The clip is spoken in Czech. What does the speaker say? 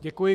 Děkuji.